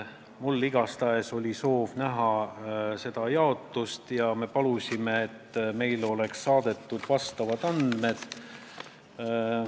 Mina igatahes soovisin seda jaotust näha ja me palusime, et meile saadetaks vastavad andmed.